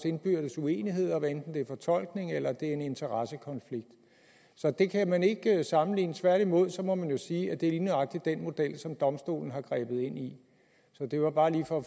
indbyrdes uenigheder hvad enten det er fortolkning eller en interessekonflikt så det kan man ikke sammenligne tværtimod må man sige at det er lige nøjagtig den model som domstolen har grebet ind i så det var bare lige for at